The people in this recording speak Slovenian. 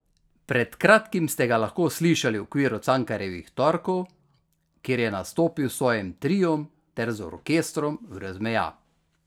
Pred kratkim ste ga lahko slišali v okviru Cankarjevih torkov, kjer je nastopil s svojim triom ter z orkestrom Brez meja.